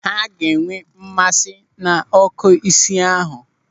Ha ga-enwe mmasị n'ọ́kụ́ isi ahụ.